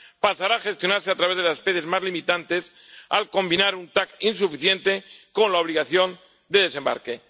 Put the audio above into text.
pasará a gestionarse a través de las especies más limitantes, al combinar un TAC insuficiente con la obligación de desembarque.